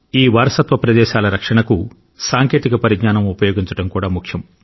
ఈ వారసత్వ ప్రదేశాల రక్షణకు సాంకేతిక పరిజ్ఞానం ఉపయోగించడం కూడా ముఖ్యం